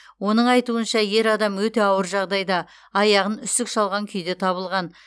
оның айтуынша ер адам өте ауыр жағдайда аяғын үсік шалған күйде табылған